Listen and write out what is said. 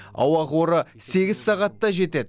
ауа қоры сегіз сағатта жетеді